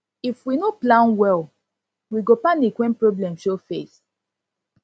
if we no plan well we go panic wen problem show face